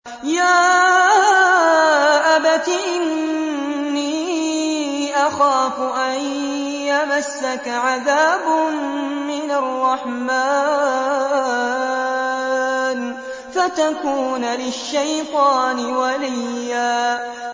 يَا أَبَتِ إِنِّي أَخَافُ أَن يَمَسَّكَ عَذَابٌ مِّنَ الرَّحْمَٰنِ فَتَكُونَ لِلشَّيْطَانِ وَلِيًّا